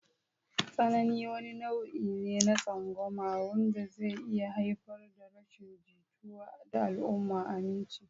Tsanani wani nau'i ne na tsangwama wanda zai iya haifar da rashin jituwa da al'amuran aminci.